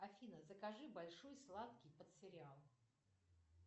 афина закажи большой сладкий под сериал